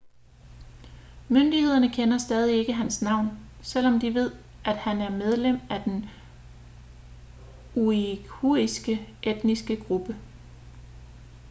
myndighederne kender stadig ikke hans navn selvom de ved at han er medlem af den uighuriske etniske gruppe